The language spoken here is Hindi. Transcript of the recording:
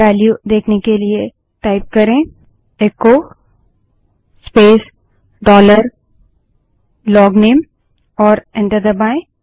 वेल्यू देखने के लिए टाइप करे इको स्पेस डॉलर लोगनेम और एंटर दबायें